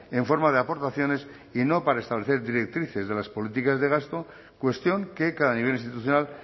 en forma de aportaciones y no para establecer directrices de las políticas de gasto cuestión que cada nivel institucional